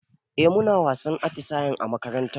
Eh muna wasannin atisaye a makarantar mu